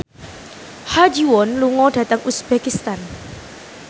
Ha Ji Won lunga dhateng uzbekistan